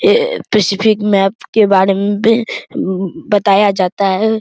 ये specific map के बारे में मम बताया जाता है।